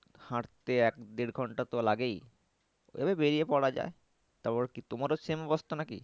হাঁটতে এক দেড় ঘন্টা তো লাগেই তবে বেরিয়ে পরা যায়। তারপর কি তোমারও same অবস্থা নাকি?